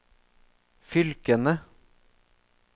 fylkene